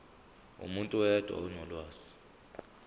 umuntu oyedwa onolwazi